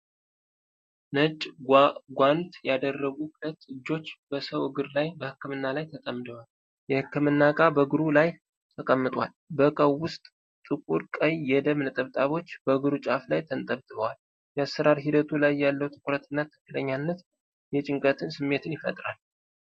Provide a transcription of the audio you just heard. ነጭ ጓንት ያደረጉ ሁለት እጆች፣ በሰው እግር ላይ በሕክምና ላይ ተጠምደዋል። የህክምና እቃ በእግሩ ላይተቀምጧል። በእቃው ውስጥ ጥቁር ቀይ የደም ነጠብጣቦች በእግሩ ጫፍ ላይ ተንጠባጥበዋል። የአሰራር ሂደቱ ላይ ያለው ትኩረትና ትክክለኛነት የጭንቀት ስሜትን ይፈጥራል።